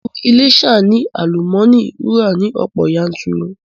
Ilu Iléṣà ni àlùmọ́nì wúrà ni ọ̀pọ̀ yanturu